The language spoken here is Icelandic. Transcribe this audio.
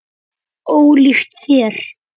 Ólíkt þér.